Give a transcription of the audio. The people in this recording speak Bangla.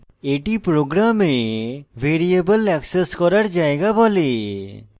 এটি program ভ্যারিয়েবল এক্সেস করার জায়গা বলে